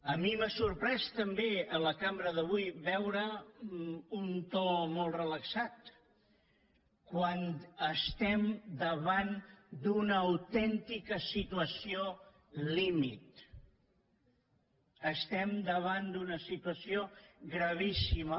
a mi m’ha sorprès també a la cambra d’avui veure un to molt relaxat quan estem davant d’una autèntica situació límit estem davant d’una situació gravíssima